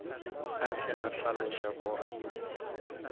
a tle a hlaloše gore